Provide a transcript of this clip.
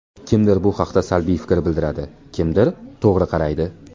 Kimdir bu haqda salbiy fikr bildiradi, kimdir to‘g‘ri qaraydi.